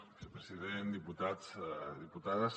vicepresident diputats diputades